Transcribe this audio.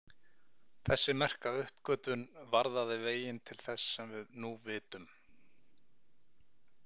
Þessi merka uppgötvun varðaði veginn til þess sem við nú vitum.